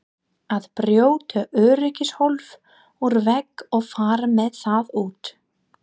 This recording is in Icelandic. Að brjóta öryggishólf úr vegg og fara með það út!